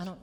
Ano.